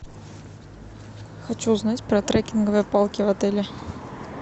хочу узнать про трекинговые палки в отеле